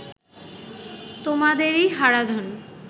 তোমাদেরি Haradhan